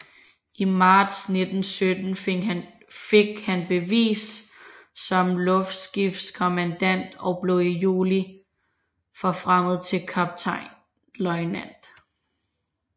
I marts 1917 fik han bevis som luftskibskommandant og blev i juli forfremmet til kaptajnløjtnant